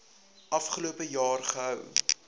afgelope jaar gehou